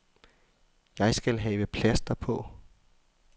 Jeg skal have plaster på.